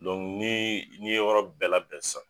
ni ni ye yɔrɔ bɛɛ labɛn sisan.